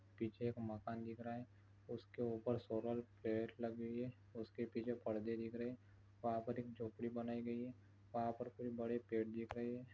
पीछे एक मकान दिख रहा है। उसके ऊपर सोलर प्लेट लगी हुई है। उसके पीछे पड़दे दिख रहे। वहा पर एक झोपड़ी बनाई गयी है और वहा पर कुछ बड़े पेड़ दिख रहे है।